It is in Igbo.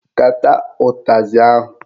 Kata utazị ahụ!